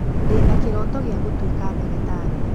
Ndĩ na kĩroto gĩa gũtuika ndagĩtarĩ